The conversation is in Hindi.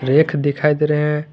रैक दिखाई दे रहे हैं।